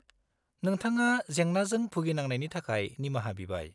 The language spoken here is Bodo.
-नोंथांङा जेंनाजों भुगिनांनायनि थाखाय निमाहा बिबाय।